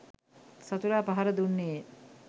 සතුරා පහර දුන්නේය